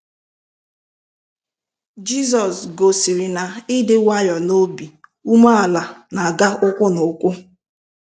Jizọs gosiri na ịdị nwayọọ na obi umeala n'aga ụkwụ na ụkwụ.